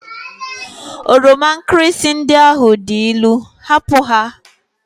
Oroma nkirịsị ndị ahụ dị ilu! hapụ ha!